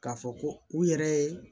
K'a fɔ ko u yɛrɛ ye